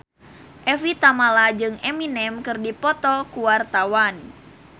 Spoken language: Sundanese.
Evie Tamala jeung Eminem keur dipoto ku wartawan